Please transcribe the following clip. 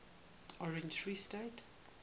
orange free state